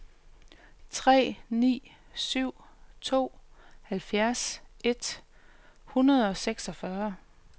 tre ni syv to halvfjerds et hundrede og seksogfyrre